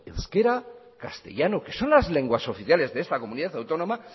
euskara y castellano que son las lenguas oficiales de esta comunidad autónoma